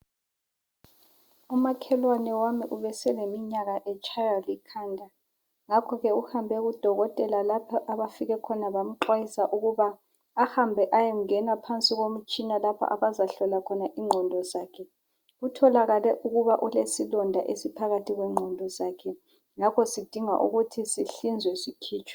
umakhelwane wami ebeseleminyaka etshaywa likhanda ngakho ke uhambe kudokotela lapho abafike khona bamxwayisa ukuba ahambe eyengena phansi komtshina lapho beyohlola inqondo zakhe kutholakale ukuba ulesilonda phakathi kwezinqondo zakhe ngapho sindingakala ukuba sihlinzwe sikhitshwe.